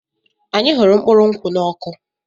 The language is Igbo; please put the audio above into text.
Anyị hụrụ mkpụrụ nkwụ́ n'ọkụ.